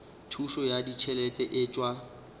thušo ya ditšhelete e tšwa